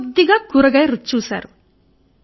కొద్దిగా కూరగాయ రుచి చూసారు